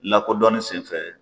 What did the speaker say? Lakodɔnni senfɛ